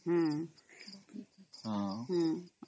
noise